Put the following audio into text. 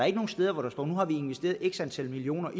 ikke nogen steder hvor der står nu har vi investeret x antal millioner